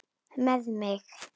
Með mig?